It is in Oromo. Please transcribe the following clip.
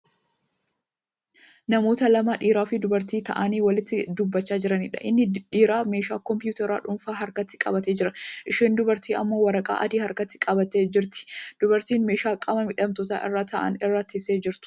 Namoota lama( dhiiraafi dubartii) taa'anii walitti dubbachaa jiraniidha. inni dhiiraa meeshaa kompitaraa dhuunfaa harkatti qabatee jira. isheen dubartii ammoo waraqaa adii harkatti qabattee jirti. dubartiin meeshaa qaama miidhamtoonni irraa taa'an irra teessee jirtu.